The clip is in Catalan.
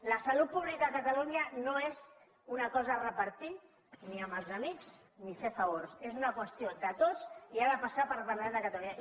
la salut pública a catalunya no és una cosa a repartir ni amb els amics ni per a fer favors és una qüestió de tots i ha de passar pel parlament de catalunya